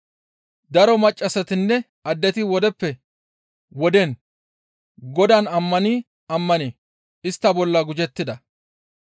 Daro maccassatinne addeti wodeppe woden Godaan ammani ammani istta bolla gujettida.